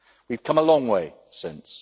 We have come a long way since.